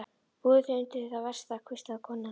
Búðu þig undir það versta, hvíslaði konan.